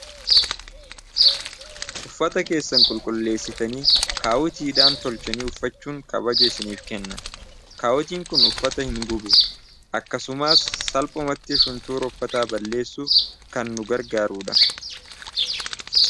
uffata keessan qulqulleessitanii kaawutiidhaan tolchinii uffachuun kabaje isiniif kenna kaawutiin kun uffata hin gubu akkasumaas salphumatti shuntuuruffataa balleessuuf kan nu gargaaruudha